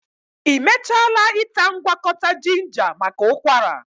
Ị mechaala ịta ngwakọta jinja maka ụkwara?